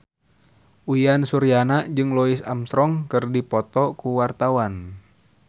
Uyan Suryana jeung Louis Armstrong keur dipoto ku wartawan